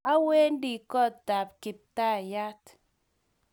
awendi kootab kiptayat.